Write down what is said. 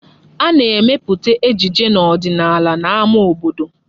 Ana-emepụta ejije ọdịnala n'ámá obodo.